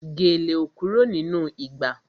Gèlè ò kúrò nínú ìgbà